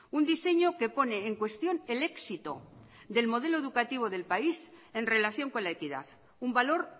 un diseño que pone en cuestión el éxito del modelo educativo del país en relación con la equidad un valor